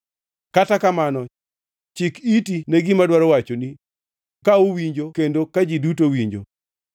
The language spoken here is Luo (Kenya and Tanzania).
Kata kamano, chik iti ne gima adwaro wachonu ka uwinjo kendo ka ji duto winjo: